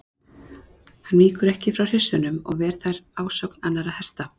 Hann víkur ekki frá hryssunum og ver þær ásókn annarra hesta.